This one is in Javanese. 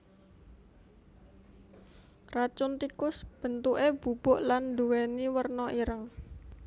Racun tikus bentuké bubuk lan nduwèni werna ireng